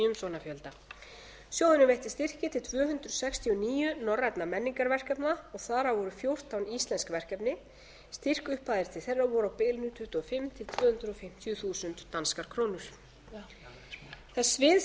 umsóknafjölda sjóðurinn veitti styrki til tvö hundruð sextíu og níu norrænna menningarverkefna og þar af voru fjórtán íslensk verkefni styrkupphæðir til þeirra voru á bilinu tuttugu og fimm til tvö hundruð fimmtíu þúsund danskar krónur það svið